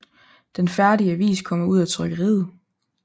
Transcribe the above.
Den færdige avis kommer ud af trykkeriet